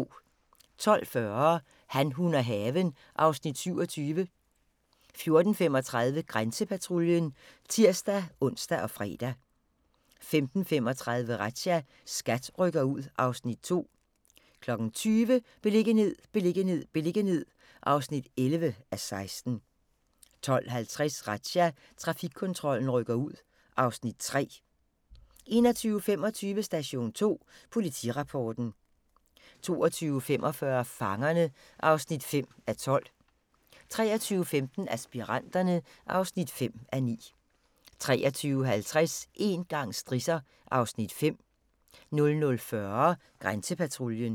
12:40: Han, hun og haven (Afs. 27) 14:35: Grænsepatruljen (tir-ons og fre) 15:35: Razzia – SKAT rykker ud (Afs. 2) 20:00: Beliggenhed, beliggenhed, beliggenhed (11:16) 20:50: Razzia – Trafikkontrollen rykker ud (Afs. 3) 21:25: Station 2 Politirapporten 22:45: Fangerne (5:12) 23:15: Aspiranterne (5:9) 23:50: Én gang strisser (Afs. 5) 00:40: Grænsepatruljen